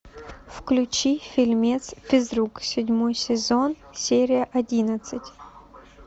включи фильмец физрук седьмой сезон серия одиннадцать